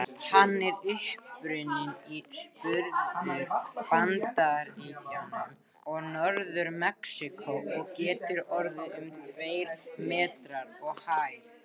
Hann er upprunninn í Suðvestur-Bandaríkjunum og Norður-Mexíkó og getur orðið um tveir metrar á hæð.